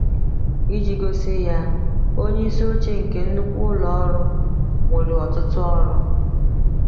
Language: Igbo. Iji gosi ya: Onye isi oche nke nnukwu ụlọ ọrụ nwere ọtụtụ ọrụ.